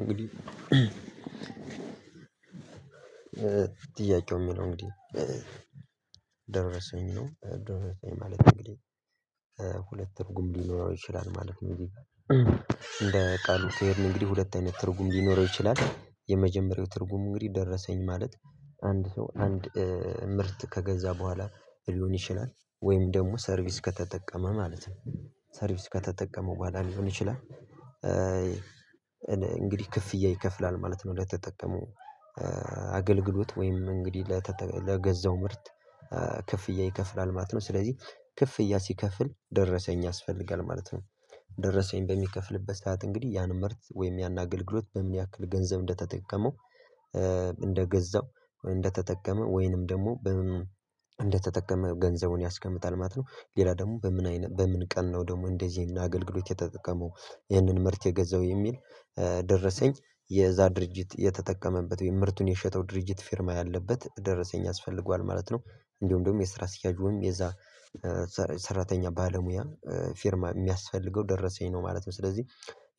እንግዲህ እ ጥያቄው የሚለው እንግዲህ ደረሰኝ ደረሰኝ ማለት እንግዲህ ሁለት ትርጉም ሊኖረው ይችላል ማለት ነው። እንግዲህ እንደ ቃሉ ስሄድ እንግዲህ ሁለት አይነት ትርጉም ሊኖረው ይችላል የመጀመሪያው ትርጉሙ እንግዲህ ደረሰኝ ማለት አንድ ሰው አንድ ምርት ከገዛ በኋላ ሊሆን ይችላል ወይም ደሞ ሰርቪስ ከተጠቀመ ማለት ነው ሰርቪስ ከተጠቀመ በኋላ ሊሆን ይችላል። እ እንግዲህ ክፍያ ይከፍላል ማለት ነው ለተጠቀመው እ አገልግሎት ወይም እንግዲህ ለተጠ ለገዛው ምርት ክፍያ ይከፍላል ማለት ነው። ስለዚህ ክፍያ ሲከፍል ደረሰኝ ያስፈልጋል ማለት ነው። ደረሰኝ በሚከፍልበት ሰዓት እንግዲህ ያን ምርት ወይም ያን አገልግሎት በምን ያክል ገንዘብ እንደተጠቀመው እ እንደገዛው እንደተጠቀመ ወይንም ደግሞ በምን እንደተጠቀመ ገንዘቡን ያስቀምጣል ማለት ነው። ሌላ ደግሞ በምን አይነ በምን ቀን ነው ደግሞ እንደዚህ አገልግሎት የተጠቀመው ይህንን ምርት የገዛው የሚል እ ደረሰኝ የዛ ድርጅት የተጠቀመበት የምርቱን የሸጠው ድርጅት ፊርማ ያለበት ደረሰኝ ያስፈልገዋል ማለት ነው። እንዳለም ደግሞ የስራ አስኪያጁ የዛ ሰራተኛ ባለሙያ እ ፊርማ የሚያስፈልገው ደረሰኝ ነው ማለት ነው። ስለዚህ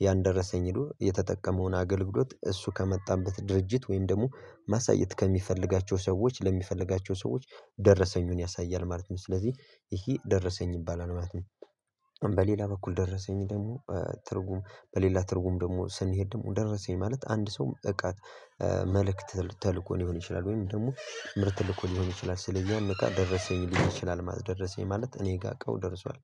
ያን ደረሰኝ ሂዶ የተጠቀመውን አገልግሎት እሱ ከመጣበት ድርጅት ወይም ደግሞ ማሳየት ከሚፈልጋቸው ሰዎች ለሚፈልጋቸው ሰዎች ደረሰኙን ያሳያል ማለት ነው። ስለዚህ ይሄ ደረሰኝ ይባላል ማለት ነው። በሌላ በኩል ደረሰኝ ደግሞ እ ትርጉም በሌላ ትርጉም ደግሞ ስንሄድ ደግሞ ደረሰኝ ማለት አንድ ሰው እቃ መልእክት ተልእኮ ሊሆን ይችላል ወይም ደግሞ ምርት ልኮ ሊሆን ይችላል ስለዚህ ያም እቃ ደረሰኝ ሊሆን ይችላል ማለት ነው። ደረሰኝ ማለት እኔ ጋር እቃው ደርሷል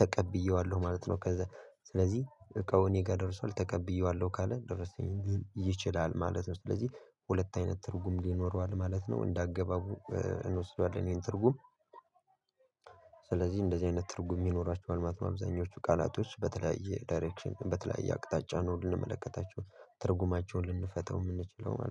ተቀብየዋለሁ ማለት ነው። ከዛ ስለዚህ እቃው እኔ ጋር ደርሷል ተቀብየዋለሁ ካለ ደረሰኝ ሊል ይችላል ማለት ነው። ስለዚህ ሁለት አይነት ትርጉም ይኖረዋል ማለት ነው እንደ አገባቡ እንወስደዋለን ይሄን ትርጉም። ስለዚህ እንደዚህ አይነት ትርጉም ይኖራቸዋል ማለት ነው አብዛኞቹ ቃላቶች በተለያየ ዳይሬክሽን በተለያየ አቅጣጫ ነው ልንመለከታቸው ትርጉማቸውን ልንፈታው የምንችለው ማለት ነው